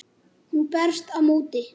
Hún berst á móti.